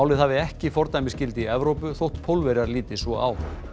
hafi ekki fordæmisgildi í Evrópu þótt Pólverjar líti svo á